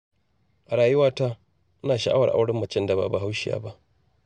A rayuwata, ina sha'awar auren macen da ba Bahaushiya ba.